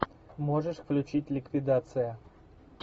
можешь включить ликвидация